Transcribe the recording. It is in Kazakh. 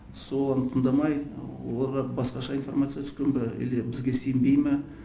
сол оны тыңдамай оларға басқаша информация түскен бе или бізге сенбей ме